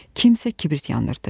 Kimsə kibrit yandırdı.